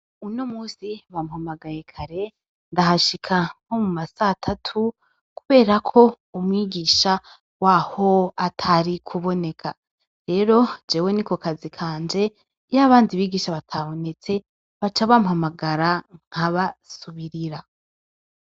Uno munsi bampamagaye kare, ndahashika nko mu ma satatu, kubera ko umwigisha waho atari kuboneka. Rero, jewe niko kazi kanje iyo abandi bigisha batabonetse, baca bampamagara nkabasubirira.